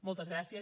moltes gràcies